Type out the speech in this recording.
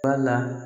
Wala